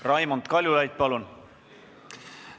Raimond Kaljulaid, palun!